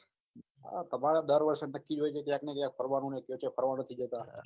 તમારે દર વર્ષે નક્કી જ હોય છે ક્યાંક ને ક્યાંક ફરવાનું કયો-કયો ફરવાનું